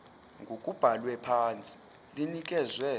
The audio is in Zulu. ngokubhalwe phansi linikezwe